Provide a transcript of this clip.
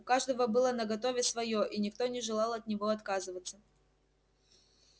у каждого было наготове своё и никто не желал от него отказываться